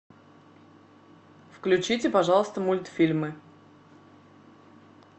включите пожалуйста мультфильмы